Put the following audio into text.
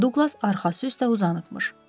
Duqlas arxası üstə uzanıbmış.